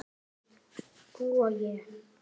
Þú og ég.